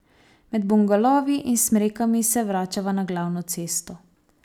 Med bungalovi in smrekami se vračava na glavno cesto.